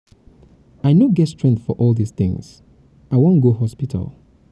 i no get strength for all dis things. i wan go um hospital um.